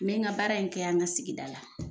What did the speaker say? N bɛ ka baara in kɛ an ka sigida la